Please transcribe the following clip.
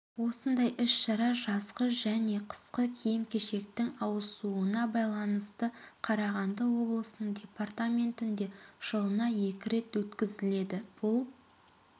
осындай іс-шара жазғы және қысқы киім-кешектің ауысуына байланысты қарағанды облысының департаментінде жылына екі рет өткізіледі бұл